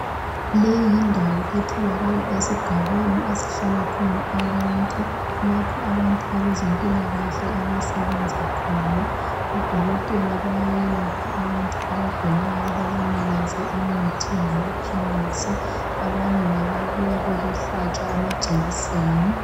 Le yindawo etholakala esigabeni esihlala khona abantu, lapho abantu abezempilakahle abasebenza khona. Odokotela bayayelapha abantu abagulayo babanikeze imithi lamaphilisi. Abanye ngababuya bezohlatshwa amajekiseni.